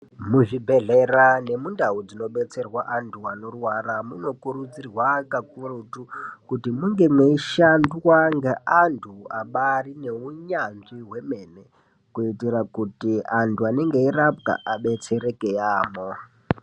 Muzvibhedhlera nemundau dzinobetserwa antu anorwara munokurudzirwa kakurutu kuti munge mweishandwa ngeantu abarine hunyanzvi hwemene. Kuitira kuti antu anenge eirapwa abetsereke yaamho.